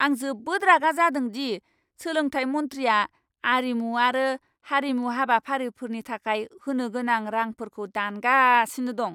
आं जोबोद रागा जादों दि सोलोंथाय मन्थ्रिया आरिमु आरो हारिमु हाबाफारिफोरनि थाखाय होनो गोनां रांफोरखौ दानगासिनो दं!